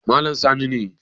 Malam Sani ne